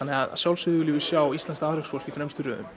að sjálfsögðu viljum við sjá íslenskt afreksfólk í fremstu röðum